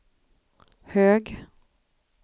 hög